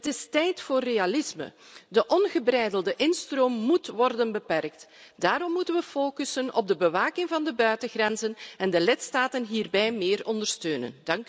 Het is tijd voor realisme. De ongebreidelde instroom moet worden beperkt. Daarom moeten we focussen op de bewaking van de buitengrenzen en de lidstaten hierbij meer ondersteunen.